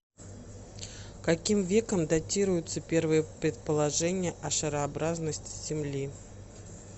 каким веком датируются первые предположения о шарообразности земли